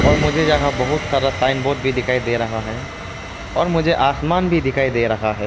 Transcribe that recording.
और मुझे यहा बहुत सारा साइन बोर्ड भी दिखाई दे रहा है और मुझे आसमान भी दिखाई दे रहा है।